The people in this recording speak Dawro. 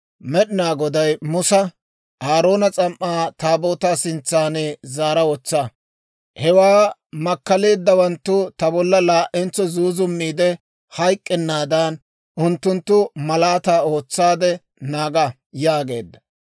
Med'inaa Goday Musa, «Aaroona s'am"aa Taabootaa sintsan zaara wotsa. Hewaa makkaleeddawanttu ta bolla laa"entso zuuzummiide hayk'k'ennaadan, unttunttoo malaataa ootsaade naaga» yaageedda.